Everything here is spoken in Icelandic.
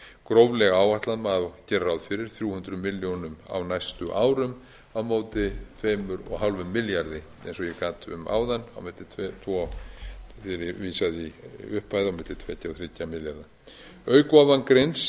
gróflega áætlað má gera ráð fyrir þrjú hundruð milljónum á næstu árum á móti tveimur og hálfum milljarði eins og ég gat um áðan og vísaði í upphæð á milli tveggja ja og þrjú ja milljarða auk ofangreinds